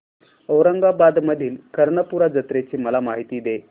औरंगाबाद मधील कर्णपूरा जत्रेची मला माहिती दे